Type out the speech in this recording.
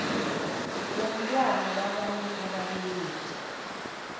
womntwana wabanye ababelethi